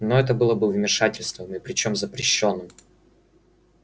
но это было бы вмешательством и причём запрещённым